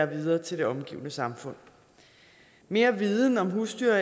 videre til det omgivende samfund mere viden om husdyr